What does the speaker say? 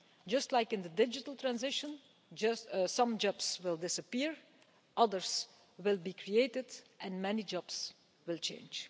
Just like in the digital transition, some jobs will disappear, others will be created, and many jobs will change.